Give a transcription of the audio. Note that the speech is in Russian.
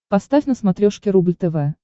поставь на смотрешке рубль тв